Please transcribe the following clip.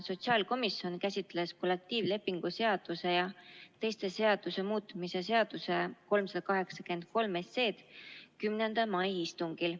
Sotsiaalkomisjon käsitles kollektiivlepingu seaduse ja teiste seaduste muutmise seaduse eelnõu 383 oma 10. mai istungil.